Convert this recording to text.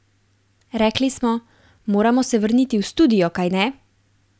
Rekli smo: 'Moramo se vrniti v studio, kajne?